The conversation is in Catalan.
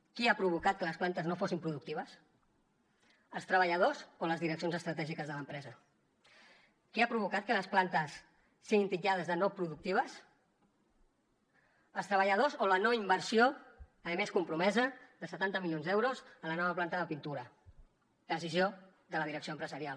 qui ha provocat que les plantes no fossin productives els treballadors o les direccions estratègiques de l’empresa qui ha provocat que les plantes siguin titllades de no productives els treballadors o la no inversió a més compromesa de setanta milions d’euros a la nova planta de pintura decisió de la direcció empresarial